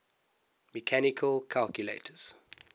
mechanical calculators